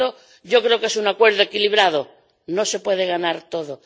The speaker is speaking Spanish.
Por tanto, yo creo que es un acuerdo equilibrado. No se puede ganar todo.